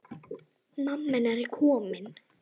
Mamma hennar komin.